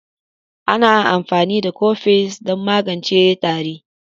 Ana amfani da Cofes don magance tari.